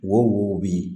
Wo wo bin